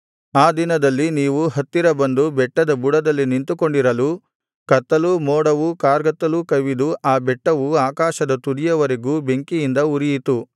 ಆ ದಿನದಲ್ಲಿ ನೀವು ಹತ್ತಿರ ಬಂದು ಬೆಟ್ಟದ ಬುಡದಲ್ಲಿ ನಿಂತುಕೊಂಡಿರಲು ಕತ್ತಲೂ ಮೋಡವೂ ಕಾರ್ಗತ್ತಲೂ ಕವಿದು ಆ ಬೆಟ್ಟವು ಆಕಾಶದ ತುದಿಯವರೆಗೂ ಬೆಂಕಿಯಿಂದ ಉರಿಯಿತು